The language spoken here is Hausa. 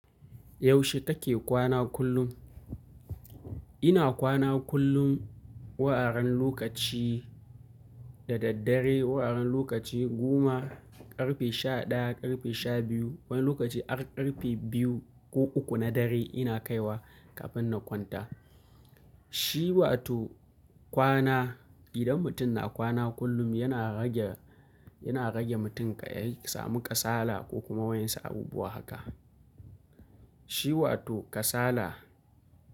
Yaushe take kwana kullum? Ina kwana kullum, wuraren lokaci da daddare, wuraren lokaci goma, ƙarfe sha ɗaya, ƙarfe sha biyu, wani lokaci har ƙarfe biyu ko uku na dare ina kaiwa kafin na kwanta. Shi wato kwana, idan mutum na kwana kullum yana rage, yana rage mutum ka yi samu ƙasala ko kuma wani abu haka. Shi wato ƙasala.